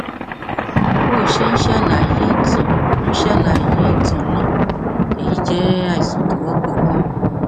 bó o ṣe ń ṣàlàyé ìtàn ń ṣàlàyé ìtàn náà èyí jẹ àìsàn tó wọpọ ganan